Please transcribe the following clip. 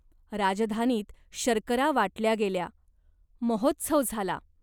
राजधानीत शर्करा वाटल्या गेल्या. महोत्सव झाला.